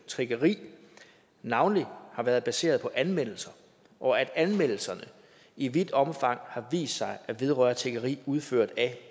tiggeri navnlig har været baseret på anmeldelser og at anmeldelserne i vidt omfang har vist sig at vedrøre tiggeri udført af